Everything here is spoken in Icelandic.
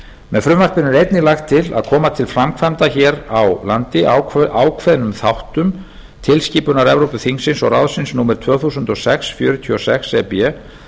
með frumvarpinu er einnig lagt til að koma til framkvæmda hér á landi ákveðnum þáttum tilskipunar evrópuþings og ráðsins númer tvö þúsund og sex fjörutíu og sex e b